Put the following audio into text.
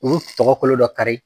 U bɛ tɔgɔ kolo dɔ kari.